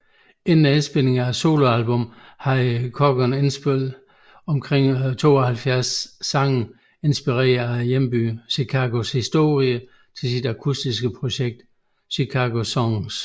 Inden indspilningerne af soloalbummet havde Corgan indspillet omkring 72 sange inspiret af hjembyen Chicagos historie til sit akutiske projekt ChicagoSongs